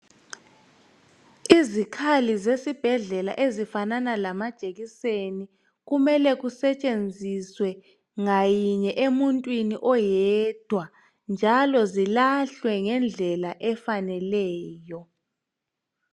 Izikhali zesibhedlela esifanana lamajekiseni kumele kusetshenziswa ngayinye emuntwini oyedwa njalo zilahlwe ngendlela efaneleyo.